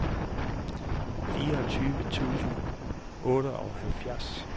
fireogtyve tusind og otteoghalvfjerds